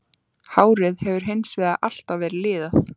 Hárið hefur hins vegar alltaf verið liðað.